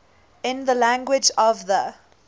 in the language of the